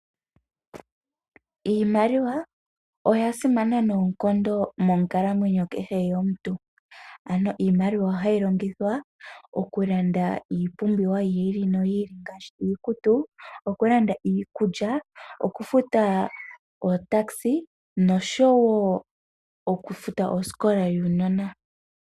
Iimaliwa oya simana noonkondo monkalamwenyo kehe yomuntu ano iimaliwa oha yi longithwa okulanda iipumbiwa yiili no yiili ngaashi iikutu, okulanda iikulya, okufuta otakisa noshowo okufuta osikola yuunona.